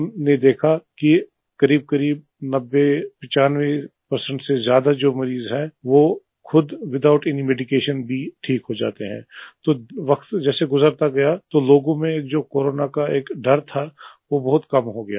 हमने देखा करीब करीब 9095 से ज्यादा जो मरीज हैं वो विथआउट इन मेडिकेशन भी ठीक हो जाते हैं तो वक्त जैसे गुजरता गया लोगों में जो कोरोना का एक डर था वो बहुत कम हो गया